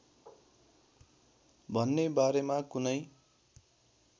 भन्ने बारेमा कुनै